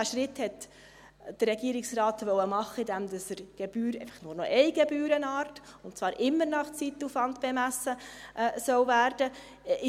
Diesen Schritt wollte der Regierungsrat machen, indem es einfach nur noch eine Gebührenart, und zwar immer nach Zeitaufwand bemessen, geben soll.